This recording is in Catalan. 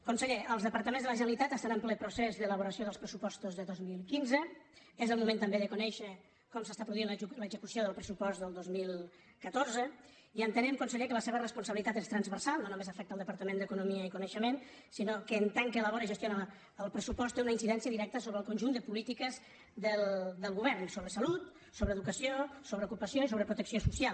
conseller els departaments de la generalitat estan en ple procés d’elaboració dels pressupostos de dos mil quinze és el moment també de conèixer com s’està produint l’execució del pressupost del dos mil catorze i entenem conseller que la seva responsabilitat és transversal no només afecta el departament d’economia i coneixement sinó que en tant que elabora i gestiona el pressupost té una incidència directa sobre el conjunt de polítiques del govern sobre salut sobre educació sobre ocupació i sobre protecció social